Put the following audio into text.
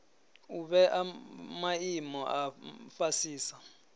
u vhea maimo a fhasisa